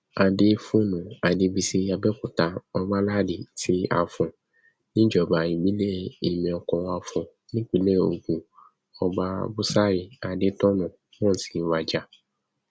adéfòne adébíyí àbẹòkúta ọbaládi ti afọn níjọba ìbílẹ ìmẹkọafọn nípínlẹ ogun ọba búsárì adétọnà náà ti wájà